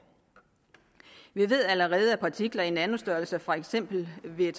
vi ved allerede at partikler i nanostørrelse for eksempel ved